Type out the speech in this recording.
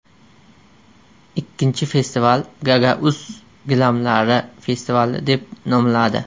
Ikkinchi festival Gagauz gilamlari festivali deb nomladi.